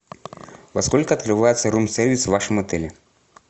во сколько открывается рум сервис в вашем отеле